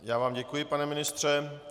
Já vám děkuji, pane ministře.